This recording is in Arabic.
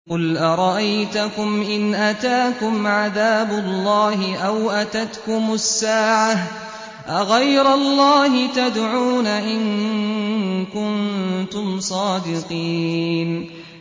قُلْ أَرَأَيْتَكُمْ إِنْ أَتَاكُمْ عَذَابُ اللَّهِ أَوْ أَتَتْكُمُ السَّاعَةُ أَغَيْرَ اللَّهِ تَدْعُونَ إِن كُنتُمْ صَادِقِينَ